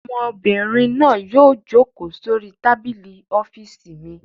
Ọmọbìnrin náà yóò jókòó sórí tábìlì ọ́fíísì mi.